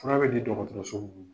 Tra bɛ di dɔgɔtɔrɔso munun ma